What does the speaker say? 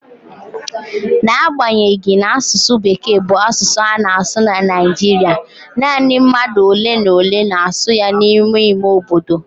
N'agbanyeghị na asụsụ Bekee bụ asụsụ a na-asụ na Naịjirịa, nanị mmadụ ole na ole na-asụ ya n'ime ime obodo.